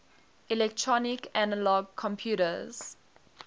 electronic analog computers